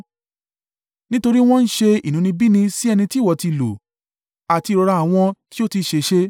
Nítorí wọ́n ń ṣe inúnibíni sí ẹni tí ìwọ ti lù, àti ìrora àwọn tí ó ti ṣèṣe.